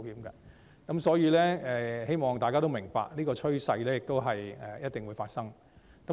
因此，希望大家明白，這種趨勢是一定會發生的。